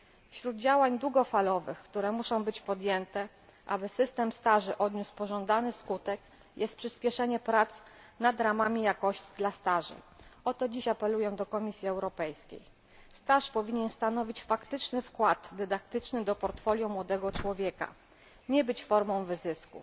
Wśród działań długofalowych, które muszą być podjęte, aby system staży odniósł pożądany skutek, jest przyśpieszenie prac nad ramami jakości dla staży. O to dziś apeluję do Komisji Europejskiej. Staż powinien stanowić faktyczny wkład dydaktyczny w portfolio młodego człowieka, a nie być formą wyzysku.